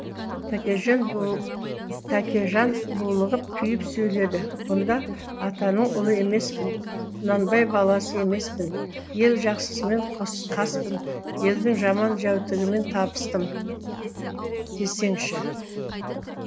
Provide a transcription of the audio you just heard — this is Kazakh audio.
тәкежан булығып күйіп сөйледі онда атаның ұлы емеспін құнанбай баласы емеспін ел жақсысымен қаспын елдің жаман жәутігімен табыстым десеңші